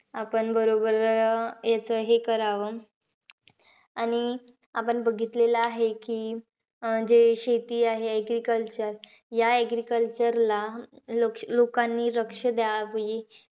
आपण बरोबर अं याचं हे करावं. आणि आपण बघितलेलं आहे की, अं जे शेती आहे agriculture. या agriculture ला लो लोकांनी लक्ष द्यावे.